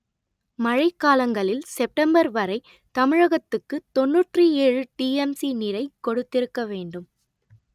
மழை காலங்களில் செப்டம்பர் வரை தமிழகத்துக்கு தொன்னூற்று ஏழு டிஎம்சி நீரை கொடுத்திருக்க வேண்டும்